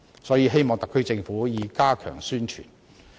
所以，希望特區政府加強宣傳。